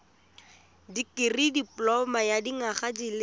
dikirii dipoloma ya dinyaga di